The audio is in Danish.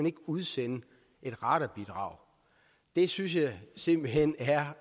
ikke udsende et radarbidrag det synes jeg simpelt hen er